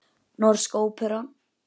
Norska óperan.